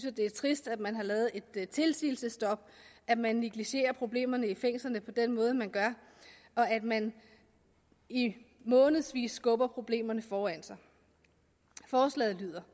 at det er trist at man har lavet et tilsigelsesstop at man negligerer problemerne i fængslerne på den måde man gør og at man i månedsvis skubber problemerne foran sig forslaget lyder